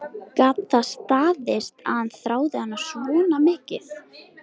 Gat það staðist að hann þráði hana svona mikið?